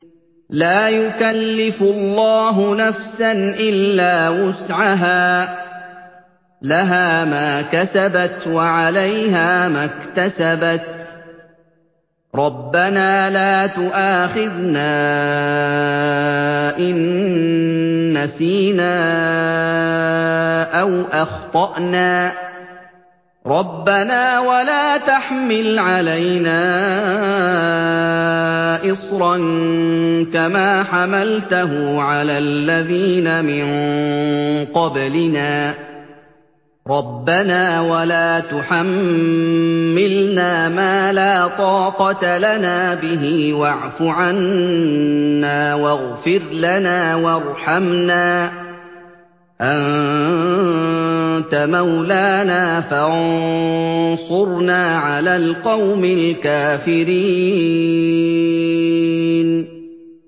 لَا يُكَلِّفُ اللَّهُ نَفْسًا إِلَّا وُسْعَهَا ۚ لَهَا مَا كَسَبَتْ وَعَلَيْهَا مَا اكْتَسَبَتْ ۗ رَبَّنَا لَا تُؤَاخِذْنَا إِن نَّسِينَا أَوْ أَخْطَأْنَا ۚ رَبَّنَا وَلَا تَحْمِلْ عَلَيْنَا إِصْرًا كَمَا حَمَلْتَهُ عَلَى الَّذِينَ مِن قَبْلِنَا ۚ رَبَّنَا وَلَا تُحَمِّلْنَا مَا لَا طَاقَةَ لَنَا بِهِ ۖ وَاعْفُ عَنَّا وَاغْفِرْ لَنَا وَارْحَمْنَا ۚ أَنتَ مَوْلَانَا فَانصُرْنَا عَلَى الْقَوْمِ الْكَافِرِينَ